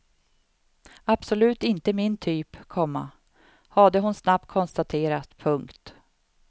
Absolut inte min typ, komma hade hon snabbt konstaterat. punkt